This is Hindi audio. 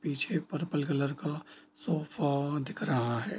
पीछे पर्पल कलर का सोफा दिख रहा है।